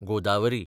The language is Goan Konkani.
गोदावरी